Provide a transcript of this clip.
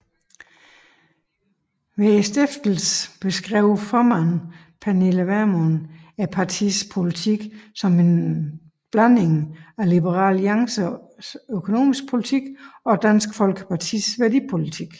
Ved stiftelsen beskrev formanden Pernille Vermund partiets politik som en kombination af Liberal Alliances økonomiske politik og Dansk Folkepartis værdipolitik